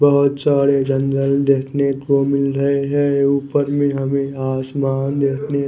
बहुतसारे जंगल देखने को मिल रहे है ऊपर में हमे आसमान देखने को--